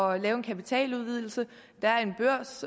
at lave en kapitaludvidelse